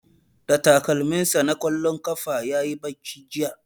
Da takalmin sa na ƙwallon ƙafa yayi bacci jiya